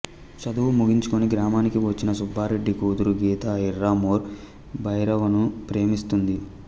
చదువు ముగించుకొని గ్రామానికి వచ్చిన సుబ్బారెడ్డి కూతురు గీత ఇర్రా మోర్ భైరవను ప్రేమిస్తుంది